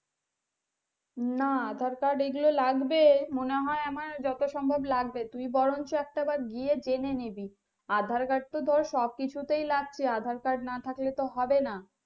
না aadhaar card এগুলো লাগবে মনে হয় আমার যত সম্ভব লাগবে তুই বরঞ্চ একটা বার গিয়ে জেনে নেবি aadhaar card তো ধর সবকিছুতেই লাগছে aadhaar card না থাকলে তো হবে না।